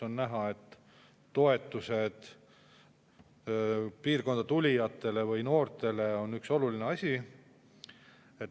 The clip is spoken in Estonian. On näha, et toetused piirkonda tulijatele või noortele on üks oluline asi.